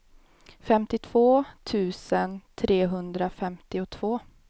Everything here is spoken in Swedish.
femtiotvå tusen trehundrafemtiotvå